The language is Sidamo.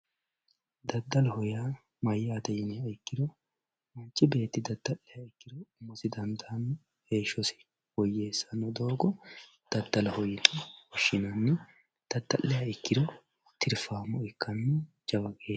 daddaloho yaa mayyate yiniha ikkiro manchi beetti daddaliha ikkiro umosi dandaanno heeshshosi woyyeessanno doogo daddaloho yinanni woshshinanni dada'liha ikkiro tirfaamo ikkanno jawa geeshsha.